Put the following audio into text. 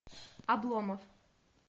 обломов